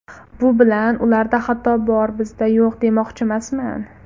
Bu bilan ‘ularda xato bor, bizda yo‘q’, demoqchimasman.